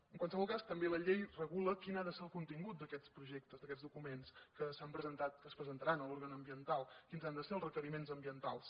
en qualsevol cas també la llei regula quin ha de ser el contingut d’aquests projectes d’aquests documents que s’han presentat que es presentaran a l’òrgan ambiental quins han de ser els requeriments ambientals